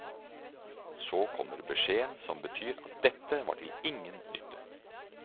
Så kommer beskjeden som betyr at dette var til ingen nytte.